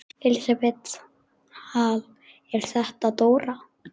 Elísabet Hall: Er þetta dóra?